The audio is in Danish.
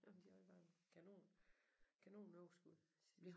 Jamen de havde bare kanon kanon overskud sidste